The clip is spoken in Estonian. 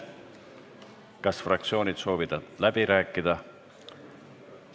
Kas fraktsioonid soovivad läbi rääkida?